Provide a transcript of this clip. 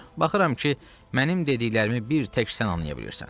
Baxıram ki, mənim dediklərimi bir tək sən anlaya bilirsən.